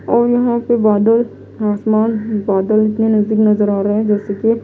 और यहां पे बादल आसमान बादल इतने नजदीक नजर आ रहे हैं जैसे की ये--